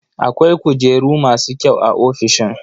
Akwai kujeru masu kyau a ofishin.